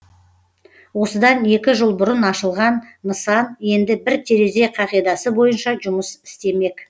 осыдан екі жыл бұрын ашылған нысан енді бір терезе қағидасы бойынша жұмыс істемек